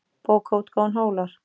Bókaútgáfan Hólar.